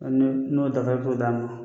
Hali ni n'o dafalen foyi d'a ma.